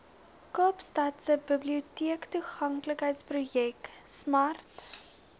kaapstadse biblioteektoeganklikheidsprojek smart